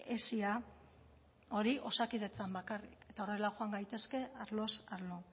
hesia hori osakidetzan bakarrik eta horrela joan gaitezke arloz arlo